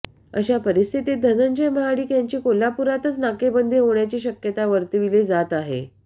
अशा परिस्थितीत धनंजय महाडिक यांची कोल्हापूरातच नाकेबंदी होण्याची शक्यता वर्तविली जात आहे